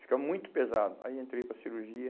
Fica muito pesado, aí entrei para a cirurgia.